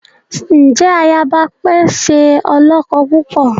Njẹ ayaba pẹ ṣe olókó púpọ?